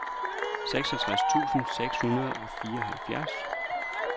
seksogtres tusind seks hundrede og fireoghalvfjerds